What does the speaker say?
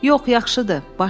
Yox, yaxşıdır.